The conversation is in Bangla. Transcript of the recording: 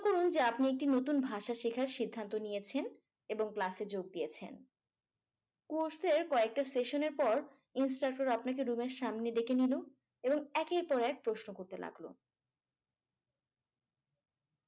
করুন যে আপনি নতুন একটি ভাষা শিখার সিদ্ধান্ত নিয়েছেন এবং ক্লাসে যোগ দিয়েছেন। কোর্সের কয়েকটা session এর পর instructor আপনাকে সামনে দুবার ডেকে নিল এবং একের পর এক প্রশ্ন করতে লাগলো।